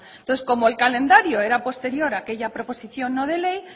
entonces como el calendario era posterior a aquella proposición no de ley